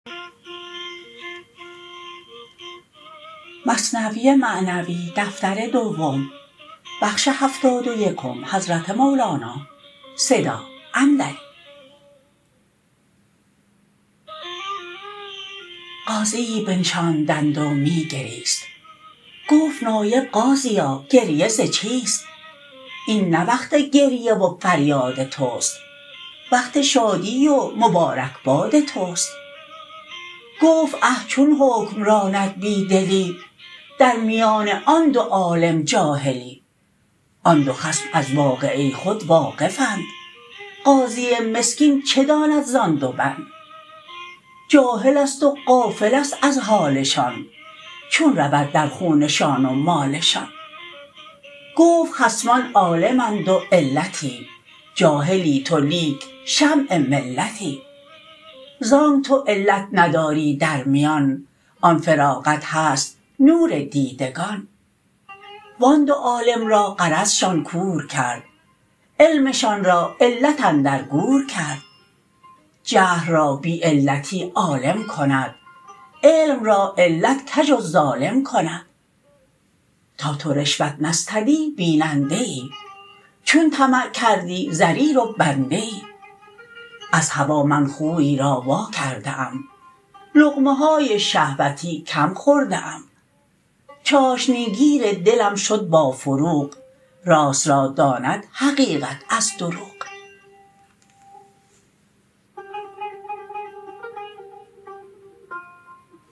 قاضیی بنشاندند و می گریست گفت نایب قاضیا گریه ز چیست این نه وقت گریه و فریاد تست وقت شادی و مبارک باد تست گفت اه چون حکم راند بی دلی در میان آن دو عالم جاهلی آن دو خصم از واقعه خود واقفند قاضی مسکین چه داند زان دو بند جاهلست و غافلست از حالشان چون رود در خونشان و مالشان گفت خصمان عالم اند و علتی جاهلی تو لیک شمع ملتی زانک تو علت نداری در میان آن فراغت هست نور دیدگان وان دو عالم را غرضشان کور کرد علمشان را علت اندر گور کرد جهل را بی علتی عالم کند علم را علت کژ و ظالم کند تا تو رشوت نستدی بیننده ای چون طمع کردی ضریر و بنده ای از هوا من خوی را وا کرده ام لقمه های شهوتی کم خورده ام چاشنی گیر دلم شد با فروغ راست را داند حقیقت از دروغ